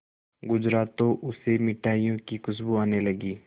गुजरा तो उसे मिठाइयों की खुशबू आने लगी